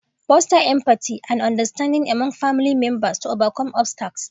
Foster empathy and understanding among family members to overcome obstacles.